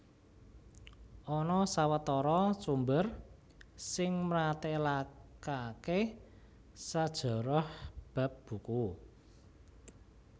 Ana sawetara sumber sing mratélakaké sajarah bab buku